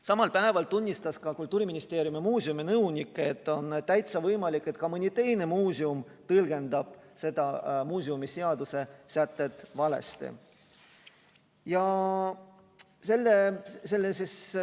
Samal päeval tunnistas ka Kultuuriministeeriumi muuseuminõunik, et on täitsa võimalik, et ka mõni teine muuseum tõlgendab seda muuseumiseaduse sätet valesti.